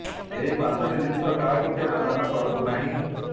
ଏହି ପାଞ୍ଚଟି ଜିନିଷ କାହାକୁ କେବେ ଦାନ କରନ୍ତୁ ନାହିଁ